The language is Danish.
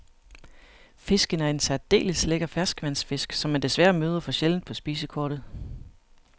Fisken er en særdeles lækker ferskvandsfisk, som man desværre møder for sjældent på spisekortet.